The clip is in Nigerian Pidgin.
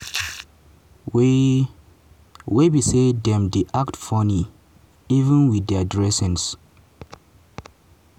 wey wey be say dem dey act funny even wit dia dressing.